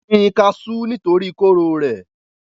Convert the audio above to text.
wọ́n gbin kasú nítorí kóró rẹ̀